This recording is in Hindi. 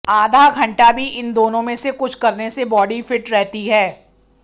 आधा घंटा भी इन दोनों में से कुछ करने से बॉडी फिट रहती है